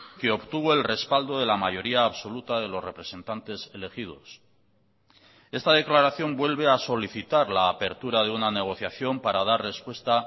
que obtuvo el respaldo de la mayoría absoluta de los representantes elegidos esta declaración vuelve a solicitar la apertura de una negociación para dar respuesta